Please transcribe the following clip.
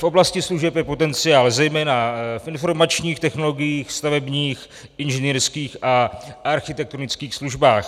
V oblasti služeb je potenciál zejména v informačních technologiích, stavebních, inženýrských a architektonických službách.